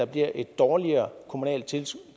bliver et dårligere kommunalt